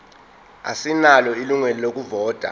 asinalo ilungelo lokuvota